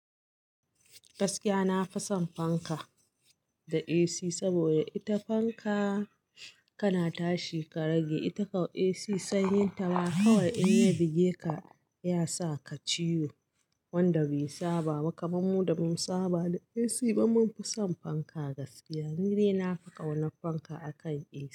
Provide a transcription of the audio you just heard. Gaskiya na fi son fanka da AC saboda ita fanka kana tashi ka rage, ita kau AC sanyi ta ma kawai in ya buge ka ya sa ka ciwo wanda bai saba ba kaman mu da bamu saba da AC ba mun fi son fanka gaskiya. Ni dai na fi ƙauna fanka akan AC.